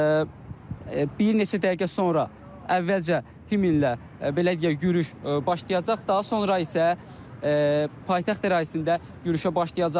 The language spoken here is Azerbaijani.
və bir neçə dəqiqə sonra əvvəlcə himnlə belə deyək yürüş başlayacaq, daha sonra isə paytaxt ərazisində yürüşə başlayacaqlar.